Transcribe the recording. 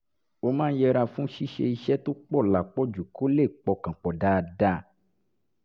ó máa ń yẹra fún ṣíṣe iṣẹ́ tó pọ̀ lápapọ̀ kó lè pọkàn pọ̀ dáadáa